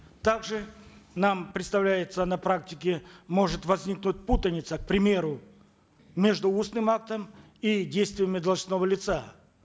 также нам представляется на практике может возникнуть путаница к примеру между устным актом и действиями должностного лица